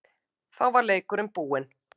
Þá var leikurinn búinn.